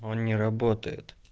он не работает